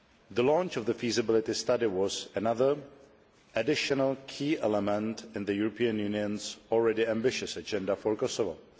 The launch of the feasibility study was another, additional key element in the European Union's already ambitious agenda for Kosovo.